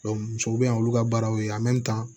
musow be yen olu ka baaraw ye